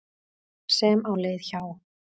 sem á leið hjá.